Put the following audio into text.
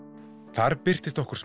þar birtist okkur